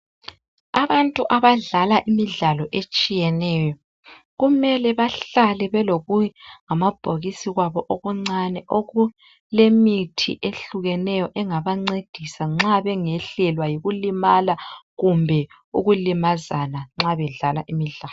Abantu abadlala imdlalo etshiyeneyo kumele behlale belokungamabhokisi kwabo okuncane okulemithi ehlukeneyo engabancedisa nxa bengehlelwa yikulimala kumbe ukulimazana nxa bedlala imidlalo.